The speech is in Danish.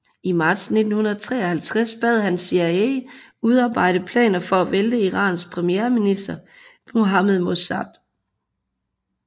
I marts 1953 bad han CIA udarbejde planer for at vælte Irans premierminister Mohammed Mossadeq